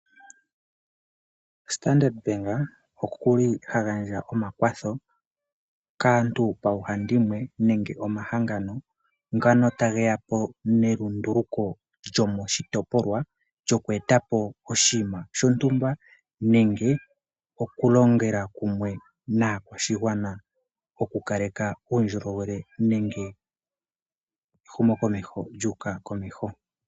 Standard bank oha gandja omakwatho kaantu koohandimwe nenge omahangano ngono tage ya po nelunduluko lyomoshitopolwa lyoku eta po oshinima shontumba nenge okulongela kumwe naakwashigwana okukaleka uundjolowele nenge ehumokomeho lyu uka komeho.